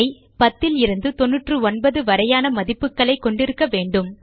10 லிருந்து 99 வரையான மதிப்புகளைக் கொண்டிருக்க வேண்டும்